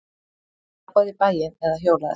Labbaðu í bæinn eða hjólaðu.